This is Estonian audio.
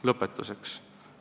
Lõpetuseks.